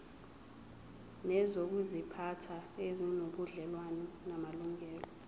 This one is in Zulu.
nezokuziphatha ezinobudlelwano namalungelo